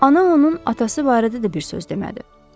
Ana onun atası barədə də bir söz demədi.